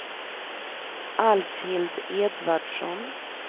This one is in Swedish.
Alfhild Edvardsson